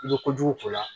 I bɛ kojugu k'o la